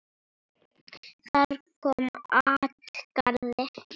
Þar kom at garði